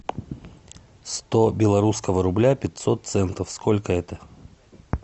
сто белорусского рубля пятьсот центов сколько это